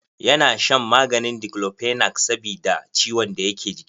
Ya na shan maganin Diklofenak sabida ciwon da yake ji.